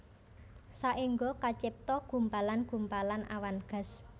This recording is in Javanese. Saéngga kacipta gumpalan gumpalan awan gas